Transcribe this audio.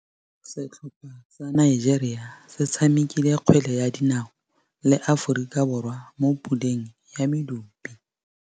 Setlhopha sa Nigeria se tshamekile kgwele ya dinaô le Aforika Borwa mo puleng ya medupe.